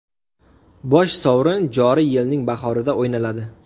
Bosh sovrin joriy yilning bahorida o‘ynaladi.